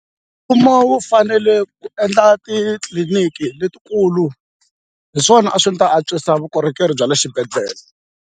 Mfumo wu fanele ku endla titliliniki letikulu hi swona a swi ta antswisa vukorhokeri bya le xibedhlele.